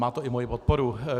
Má to i moji podporu.